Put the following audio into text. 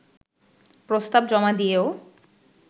প্রস্তাব জমা দিয়েও